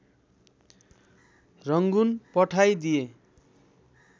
Rangoon पठाई दिए